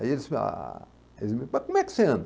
Aí eles ah... Aí eles, mas como é que você anda?